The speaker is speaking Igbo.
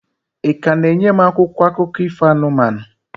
Ị ka na-enye m akwụkwọ akụkọ ifo anụmanụ?